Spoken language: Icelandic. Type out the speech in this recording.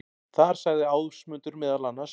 Þar sagði Ásmundur meðal annars: